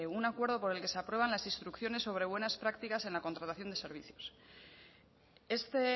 un acuerdo por el que se aprueban las instrucciones sobre buenas prácticas en la contratación de servicios este